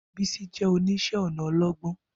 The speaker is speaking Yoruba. Bisi jẹ́ oníṣẹ́-ọnà ọlọ́gbọ́n,